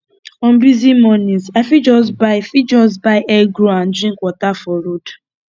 on busy mornings i fit just buy fit just buy egg roll and drink water for road